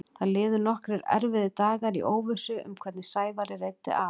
Það liðu nokkrir erfiðir dagar í óvissu um hvernig Sævari reiddi af.